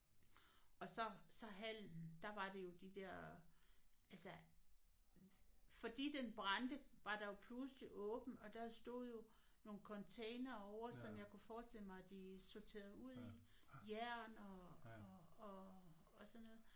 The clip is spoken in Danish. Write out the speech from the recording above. Og så så hallen der var det jo de der altså fordi den brændte var der jo pludselig åbent og der stod jo nogle containere ovre som jeg kunne forestille mig de sorterede ud i jern og og og og sådan noget